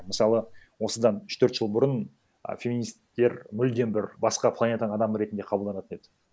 мысалы осыдан үш төрт жыл бұрын а феминистер мүлдем бір басқа планетаның адамы ретінде қабылданатын еді